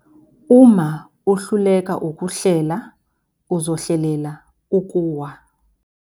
Uma uhluleka ukuhlela uzohlelela ukuwa.